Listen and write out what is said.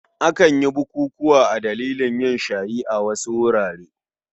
Akan yi bukukuwa a dalilin yin shayi a wasu wurare.